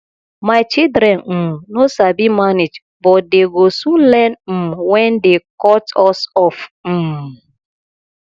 my children um no sabi manage but dey go soon learn um wen dey cut us off um